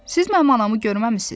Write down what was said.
Siz mənim anamı görməmisiz?